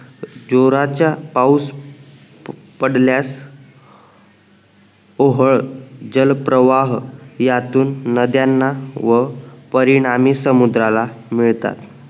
जोराच्या पाऊस पडल्यास ओहळ जल प्रवाह यातून नद्यांना व परिणामी समुद्राला मिळतात